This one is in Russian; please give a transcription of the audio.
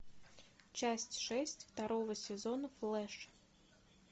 часть шесть второго сезона флэш